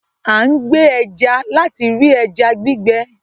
A n gbè ẹja láti rí ẹja gbígbẹ